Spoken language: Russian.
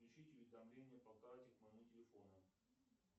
включить уведомления по карте к моему телефону